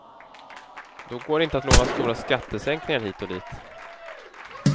Då går det inte att lova stora skattesänkningar hit och dit.